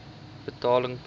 betaling pos